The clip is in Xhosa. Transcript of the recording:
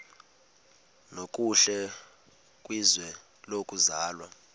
nokuhle kwizwe lokuzalwa